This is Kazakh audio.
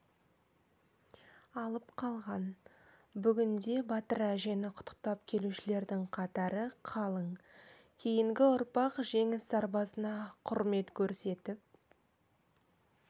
алып қалған бүгінде батыр әжені құттықтап келушілердің қатары қалың кейінгі ұрпақ жеңіс сарбазына құрмет көрсетіп